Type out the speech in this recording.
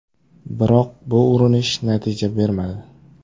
Biroq bu urinish natija bermadi.